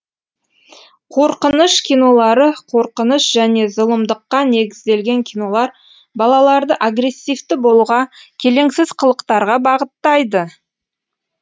қорқыныш кинолары қорқыныш және зұлымдыққа негізделген кинолар балаларды агрессивті болуға келеңсіз қылықтарға бағыттайды